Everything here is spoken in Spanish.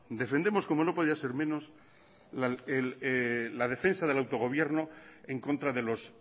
defendemos como no podía ser menos la defensa del autogobierno en contra de los